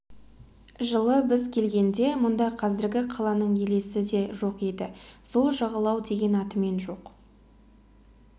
жылы біз келгенде мұнда қазіргі қаланың елесі де жоқ еді сол жағалау деген атымен жоқ